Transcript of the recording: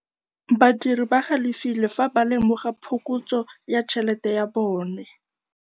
Badiri ba galefile fa ba lemoga phokotsô ya tšhelête ya bone.